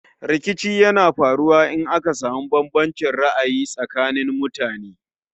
Rikici yana faruwa in aka samu bambancin ra'ayi tsakanin mutane